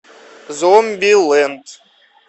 зомбилэнд